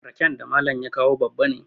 raken da Malam ya kawo babban ne